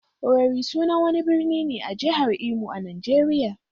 Owerri sunan wani birni ne a jihar Imo a Najeriya.